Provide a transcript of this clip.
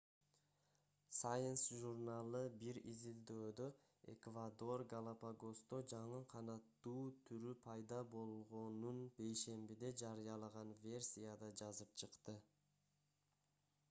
science журналы бир изилдөөдө эквадор галапагосто жаңы канаттуу түрү пайда болгонун бейшембиде жарыялаган версияда жазып чыкты